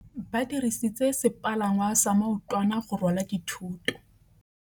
Ba dirisitse sepalangwasa maotwana go rwala dithôtô.